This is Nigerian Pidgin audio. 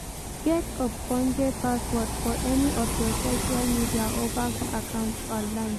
Get ogbonge password for any of your social media or bank accounts online